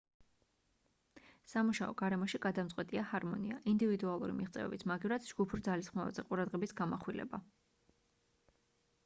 სამუშაო გარემოში გადამწყვეტია ჰარმონია ინდივიდუალური მიღწევების მაგივრად ჯგუფურ ძალისხმევაზე ყურადღების გამახვილება